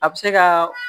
A bɛ se ka